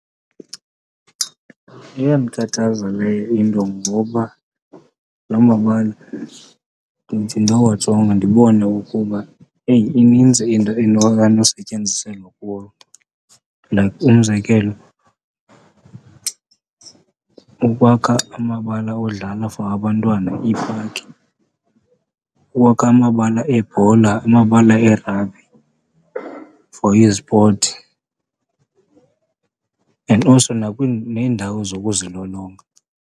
Iyandikhathaza leyo into ngoba lo mabala ndithi ndowajonga ndibone ukuba eyi, inintsi into enosetyenziselwa kuwo. Like umzekelo, ukwakha amabala odlala for abantwana, iipaki, ukwakha amabala ebhola, amabala ee-rugby for izipoti and also nakwiindawo zokuzilolonga.